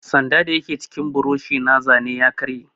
Sanda dayake cikin buroshi na zane ya karye.